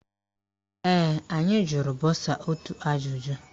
Ee, anyị jụrụ bọsa ọtụtụ ajụjụ.